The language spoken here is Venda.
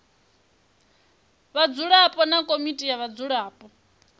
vhadzulapo na komiti ya vhadzulapo